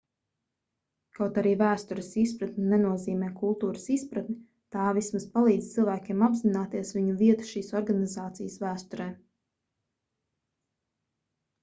kaut arī vēstures izpratne nenozīmē kultūras izpratni tā vismaz palīdz cilvēkiem apzināties viņu vietu šīs organizācijas vēsturē